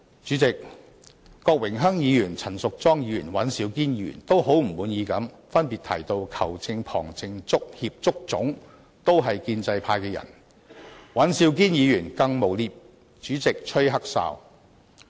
主席，郭榮鏗議員、陳淑莊議員和尹兆堅議員都很不滿意地分別提到，"球證、旁證、足協、足總"都是建制派的人，而尹兆堅議員更誣衊主席吹"黑哨"。